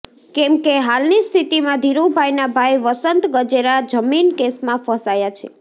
કેમકે હાલની સ્થિતિમાં ધીરુભાઈના ભાઈ વસંત ગજેરા જમીન કેસમાં ફસાયા છે